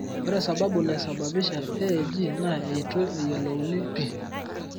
Ore sababu naisababisha AAG naa eitu eeyiolouni pi?